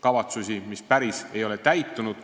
kavatsusi, mis ei ole päriselt täitunud.